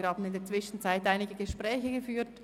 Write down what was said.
Wir haben in der Zwischenzeit einige Gespräche geführt.